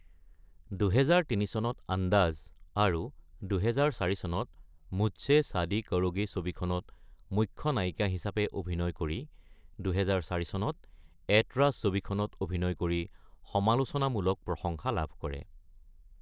২০০৩ চনত আন্দাজ আৰু ২০০৪ চনত মুঝসে ছাদী কাৰোগী ছবিখনত মুখ্য নায়িকা হিচাপে অভিনয় কৰি ২০০৪ চনত এতৰাজ ছবিখনত অভিনয় কৰি সমালোচনামূলক প্ৰশংসা লাভ কৰে।